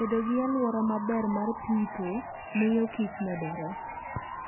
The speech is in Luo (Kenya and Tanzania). Bedo gi alwora maber mar pidho miyo kich medore.